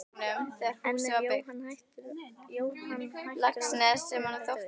En er Jóhann hættur við að hætta?